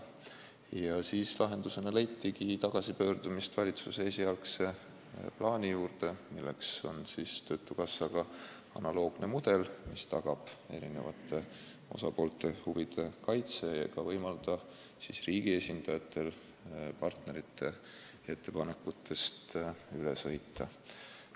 Ja siis leitigi lahendus tagasipöördumises valitsuse esialgse plaani juurde, milleks on töötukassa omaga analoogne mudel, mis tagab eri osapoolte huvide kaitse ega võimalda riigi esindajatel partnerite ettepanekutest üle sõita.